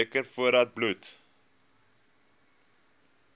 teken voordat bloed